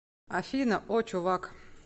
афина о чувак